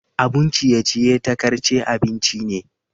Abun ciye-ciye takarce abinci ne.